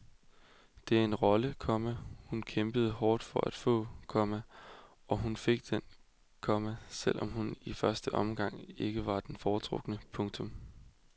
Det er en rolle, komma hun kæmpede hårdt for at få, komma og som hun fik, komma selv om hun i første omgang ikke var den foretrukne. punktum